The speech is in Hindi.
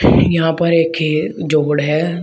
यहां पर एक ये जोड़ है।